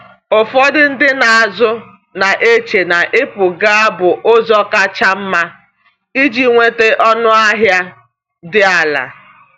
Ụfọdụ ndị na-azụ na-eche na ịpụ gaa bụ ụzọ kacha mma iji nweta ọnụahịa dị ala.